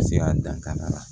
Ka se ka dankari a la